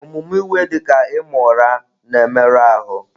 Omume iwe, dị ka ịma ụra, na-emerụ ahụ.